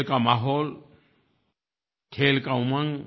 खेल का माहौल खेल का उमंग